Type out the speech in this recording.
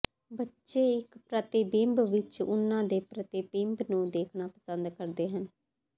ਬੱਚੇ ਇੱਕ ਪ੍ਰਤਿਬਿੰਬ ਵਿੱਚ ਉਹਨਾਂ ਦੇ ਪ੍ਰਤੀਬਿੰਬ ਨੂੰ ਦੇਖਣਾ ਪਸੰਦ ਕਰਦੇ ਹਨ